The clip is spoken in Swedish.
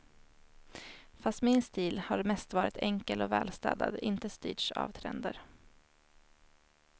Fast min stil har mest varit enkel och välstädad, inte styrts av trender.